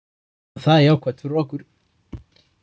Það er jákvætt fyrir okkur.